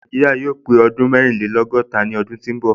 Nàìjíríà yóò pé ọdún ẹrìnlẹ́lọ́gọ́ta ní ọdún tó ń bọ̀